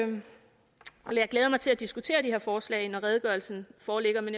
glæder mig til at diskutere de her forslag når redegørelsen foreligger men